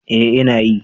Ee ina yi.